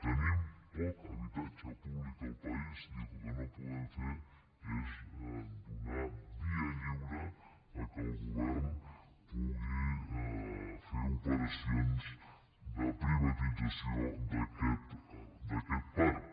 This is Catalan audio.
tenim poc habitatge públic al país i el que no podem fer és donar via lliure que el govern pugui fer operacions de privatització d’aquest parc